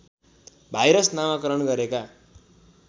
virus नामाकरण गरेका